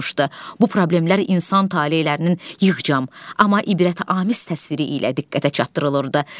Bu problemlər insan talelərinin yığcam, amma ibrətamiz təsviri ilə diqqətə çatdırılırdı.